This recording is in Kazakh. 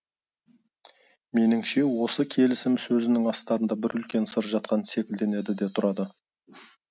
меніңше осы келісім сөзінің астарында бір үлкен сыр жатқан секілденеді де тұрады